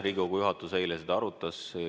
Riigikogu juhatus eile seda arutas.